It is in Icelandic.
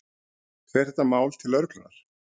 Fer þetta mál til lögreglunnar?